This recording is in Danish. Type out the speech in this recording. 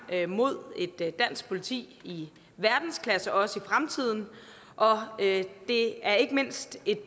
mod et dansk politi i verdensklasse også i fremtiden og det er ikke mindst et